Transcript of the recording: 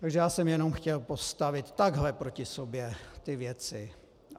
Takže já jsem jenom chtěl postavit takhle proti sobě ty věci.